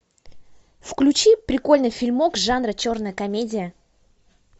включи прикольный фильм жанра черная комедия